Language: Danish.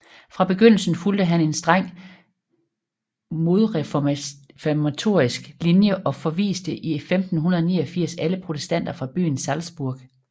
Fra begyndelsen fulgte han en streng modreformatorisk linje og forviste i 1589 alle protestanter fra byen Salzburg